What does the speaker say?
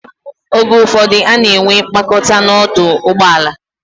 Oge ụfọdụ, ana enwe mkpakọta n'ọdụ ụgbọ ala.